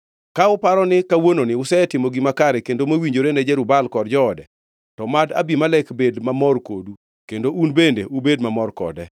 Ka uparo ni kawuononi usetimo gima kare kendo mowinjore ni Jerub-Baal kod joode, to mad Abimelek bed mamor kodu kendo un bende ubed mamor kode!